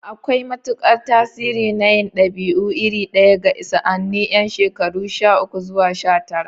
Akwai matukar tasiri na yin dabi'u iri ɗaya ga sa'anni yan shekaru sha uku zuwa sha tara.